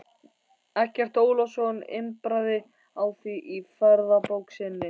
Eggert Ólafsson impraði á því í ferðabók sinni